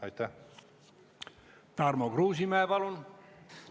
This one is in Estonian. Tarmo Kruusimäe, palun!